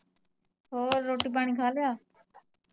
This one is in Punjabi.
ਹੋਰ ਰੋਟੀ ਪਾਣੀ ਖਾਲਿਆ?